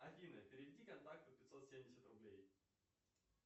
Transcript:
афина переведи контакту пятьсот семьдесят рублей